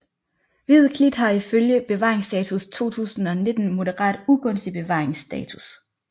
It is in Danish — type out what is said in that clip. Hvid klit har i følge bevaringsstatus 2019 moderat ugunstig bevaringsstatus